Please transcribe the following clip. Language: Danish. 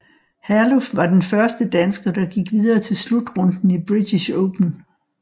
Herluf var den første dansker der gik videre til slutrunden i British Open